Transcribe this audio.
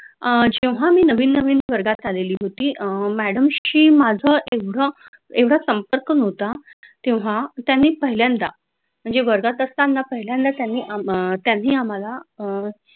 अह जेव्हा मी नवीन नवीन वर्गात आलेली होती अह madam शी माझ एवढं एवढा संपर्क नव्हता. तेव्हा त्यांनी पहिल्यांदा म्हणजे वर्गात असताना पहिल्यांदा त्यांनी त्यांनी आम्हाला